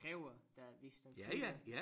Kræver der hvis der følger